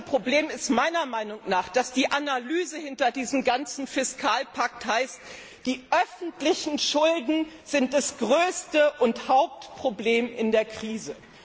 Das größte Problem ist meiner Meinung nach, dass die Analyse hinter diesem ganzen Fiskalpakt heißt, die öffentlichen Schulden seien das größte und Hauptproblem in der Krise.